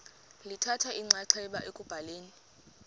lithatha inxaxheba ekubhaleni